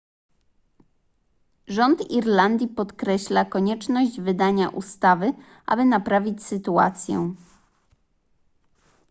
rząd irlandii podkreśla konieczność wydania ustawy aby naprawić sytuację